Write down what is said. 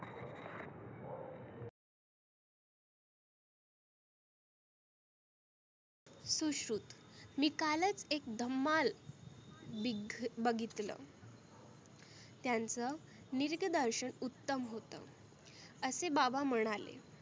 सुश्रुत मी कालच एक धमाल बिघ बघितलं. त्यांच निरीगदर्शन उत्तम होतं असे बाबा म्हणाले.